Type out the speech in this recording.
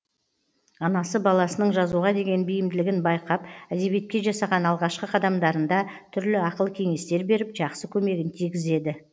анасы баласының жазуға деген бейімділігін байқап әдебиетке жасаған алғашқы қадамдарында түрлі ақыл кеңестер беріп жақсы көмегін тигізеді